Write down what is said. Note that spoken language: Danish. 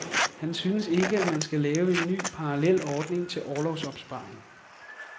Han synes ikke, at man skal lave en ny parallel ordning til orlovsopsparing.